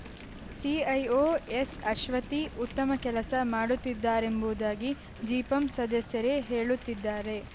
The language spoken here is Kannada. ಸಿಐಒ ಎಸ್‌ಅಶ್ವತಿ ಉತ್ತಮ ಕೆಲಸ ಮಾಡುತ್ತಿದ್ದಾರೆಂಬುದಾಗಿ ಜಿಪಂ ಸದಸ್ಯರೇ ಹೇಳುತ್ತಿದ್ದಾರೆ